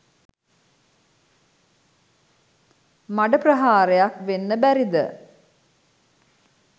මඩ ප්‍රහාරයක්‌ වෙන්න බැරිද?